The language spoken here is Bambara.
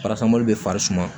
bɛ fari suma